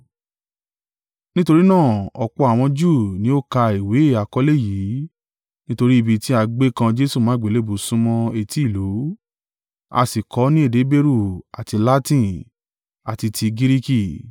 Nítorí náà, ọ̀pọ̀ àwọn Júù ni ó ka ìwé àkọlé yìí, nítorí ibi tí a gbé kan Jesu mọ́ àgbélébùú súnmọ́ etí ìlú, a sì kọ ọ́ ní èdè Heberu àti Latin, àti ti Giriki.